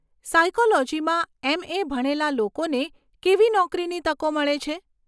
સાયકોલોજીમાં MA. ભણેલા લોકોને કેવી નોકરીની તકો મળે છે?